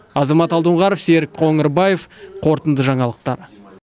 азамат алдоңғаров серік қоңырбаев қорытынды жаңалықтар